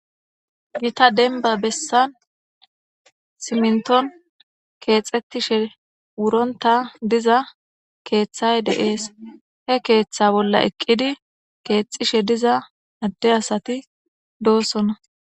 Gitta deniba besan siminiton kexetishe wuronita diza krthay de'es heketha bolla eqidi diza ade asati do'sona